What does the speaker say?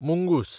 मुंगूस